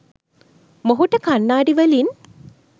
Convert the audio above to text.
මොහුට කණ්නාඩි වලින්